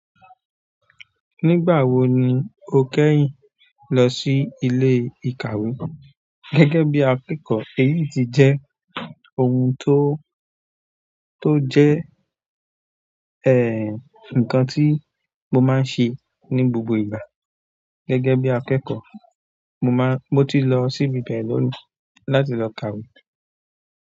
Nígbà wo ni o kẹ́yìn lọ sí ilé ìkàwé? Gẹ́gẹ́ bí akẹ́kọ̀ọ́, èyí ti jẹ́ ohun tó, tó jẹ́, ǹkan tí mo máa ń ṣe ní gbogbo ìgbà. Gẹ́gẹ́ bí akẹ́kọ̀ọ́, mo máa, mo ti lọ síbi bẹ́ẹ̀ lónìí láti lọ kàwé.